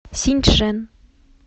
синьчжэн